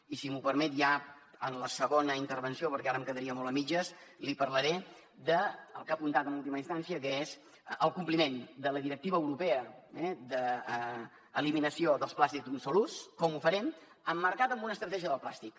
i si m’ho permet ja en la segona intervenció perquè ara em quedaria molt a mitges li parlaré del que ha apuntat en última instància que és el compliment de la directiva europea d’eliminació dels plàstics d’un sol ús com ho farem emmarcat en una estratègia del plàstic